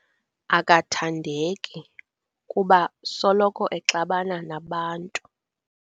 Akathandeki kuba soloko exabana nabantu.